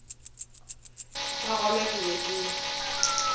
ka gona ke be ke